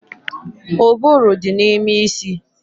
Ụbụrụ dị n'ime isi